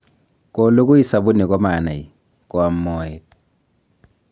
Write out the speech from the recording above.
kolugui sabuni ko manai koam moet